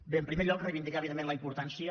bé en primer lloc reivindicar evidentment la importància